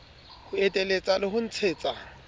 ho eteletsa le ho ntshetsa